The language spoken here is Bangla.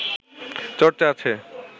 চর্চা আছে